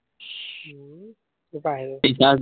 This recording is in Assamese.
উম কৰ পৰা আহিব